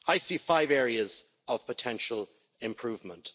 I see five areas of potential improvement.